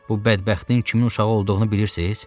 Bu bədbəxtin kimin uşağı olduğunu bilirsiz?